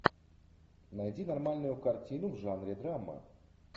найди нормальную картину в жанре драма